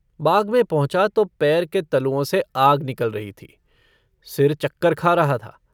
बाग में पहुँचा तो पैर के तलुओं से आग निकल रही थी, सिर चक्कर खा रहा था।